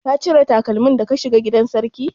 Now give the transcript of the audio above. Ka cire takalmi da ka shiga gidan sarki?